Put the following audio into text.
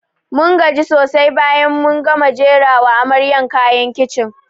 Mun gaji sosai bayan mun gama jera wa amaryan kayan kicin